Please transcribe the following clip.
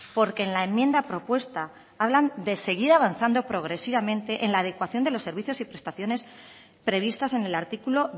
porque en la enmienda propuesta hablan de seguir avanzando progresivamente en la adecuación de los servicios y prestaciones previstas en el artículo